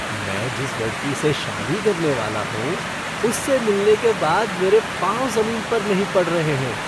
मैं जिस लड़की से शादी करने वाला हूँ, उससे मिलने के बाद मेरे पांव जमीन पर नहीं पड़ रहे हैं।